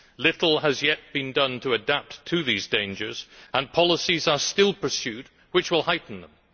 Little has yet been done to adapt to these dangers, and policies are still being pursued which will heighten them.